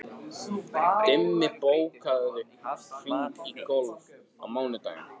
Dimma, bókaðu hring í golf á mánudaginn.